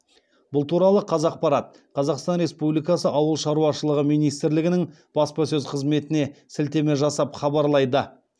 бұл туралы қазақпарат қазақстан республикасы ауыл шаруашылығы министрлігінің баспасөз қызметіне сілтеме жасап хабарлайды